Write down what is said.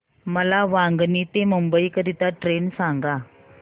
मला वांगणी ते मुंबई करीता ट्रेन सांगा